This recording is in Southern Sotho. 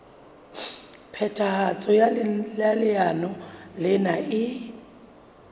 phethahatso ya leano lena e